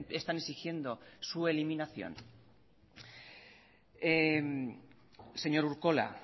están exigiendo su eliminación señor urkola